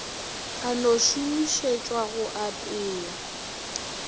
ka no šomišetšwa go apea